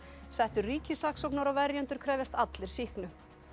settur ríkissaksóknari og verjendur krefjast allir sýknu